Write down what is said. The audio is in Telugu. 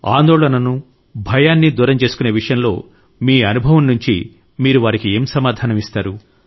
ఆందోళనను భయాన్ని దూరం చేసుకునే విషయంలో మీ అనుభవం నుండి మీరు వారికి ఏ సమాధానం ఇస్తారు